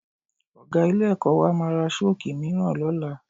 Ọ̀ga ilé-ẹ̀kọ́ wa máa ra Ṣọ́ọ̀kì mìíràn lọ́la